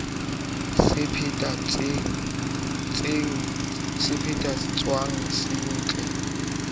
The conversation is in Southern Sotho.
se phethe tsweng se setle